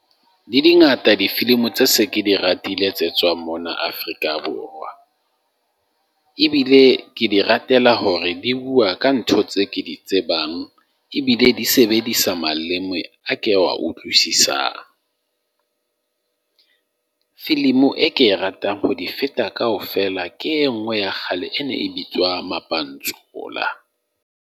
Le di ngata difilimi tse se ke di ratile tse tswang mona Afrika Borwa. Ebile ke di ratela hore di bua ka ntho tse ke di tsebang. Ebile di sebedisa maleme a ke wa utlwisisang. Filimi e ke e ratang ho di feta kaofela ke e nngwe ya kgale, e ne e bitswa Mapantsula.